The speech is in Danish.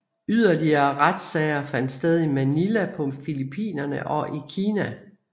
Yderligere retssager fandt sted i Manila på Filippinerne og i Kina